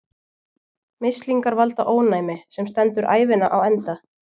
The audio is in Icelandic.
Mislingar valda ónæmi, sem stendur ævina á enda.